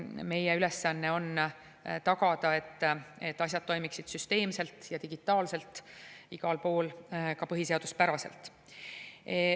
Meie ülesanne on tagada, et asjad toimiksid süsteemselt ja digitaalselt, igal pool ka põhiseaduspäraselt.